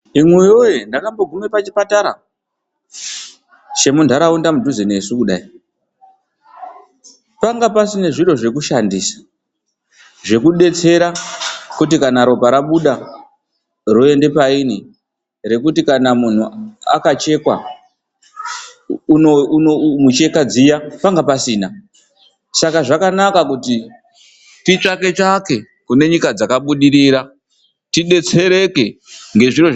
Imwi woye ndakambogume pachibhedhlera chemundaraunda mudhuze nesu kudai panga, Pasina zviro zvekushandisa zvekudetsera kuti kana ropa rabuda roende painyi rekuti kana muntu akachekwa micheka dziya panga pasina, saka zvakanaka kuti titsvake tsvake kune nyika dzambabudirira tidetsereke.